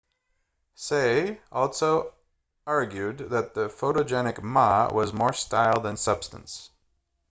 hsieh also argued that the photogenic ma was more style than substance